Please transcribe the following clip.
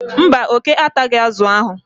mba, oke ataghị azụ ahụ.